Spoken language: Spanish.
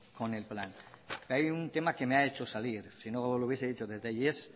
con el plan pero hay un tema que me ha hecho salir si no lo hubiese dicho y es el